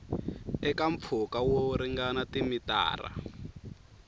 eka mpfhuka wo ringana timitara